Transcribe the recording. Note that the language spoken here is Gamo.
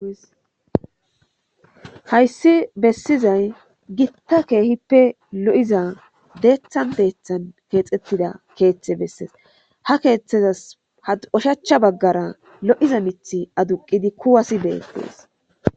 Hayssi bessizay gitta keehippe lo7iza deeththan deethan keexettida keeththe bessees ha keeththezas had ushachcha baggara lo7iza mith aduqidi kuwasi beettees.